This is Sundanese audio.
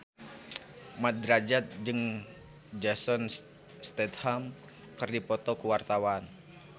Mat Drajat jeung Jason Statham keur dipoto ku wartawan